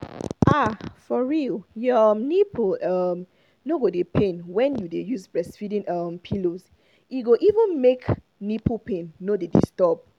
ah for real your um nipple um no go dey pain wen you dey use breastfeeding um pillows e go even make make nipple pain no dey disturb